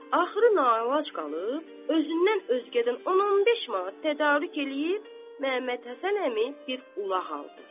Axırı naəlac qalıb, özündən özgədən 10-15 manat tədarük eləyib Məhəmməd Həsən əmi bir ulaq aldı.